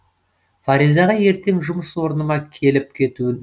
фаризаға ертең жұмыс орыныма келіп кетуін